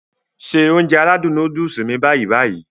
Se Ounjẹ aládùn nóódùsì mi báyì-báyì